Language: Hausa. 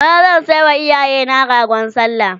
bana zan sayawa iyayena ragon sallah